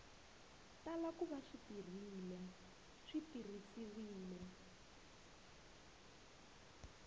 tala ku va swi tirhisiwile